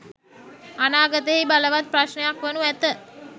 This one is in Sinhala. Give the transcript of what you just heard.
අනාගතයෙහි බලවත් ප්‍රශ්නයක් වනු ඇත.